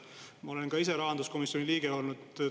Ma olen ka ise rahanduskomisjoni liige olnud.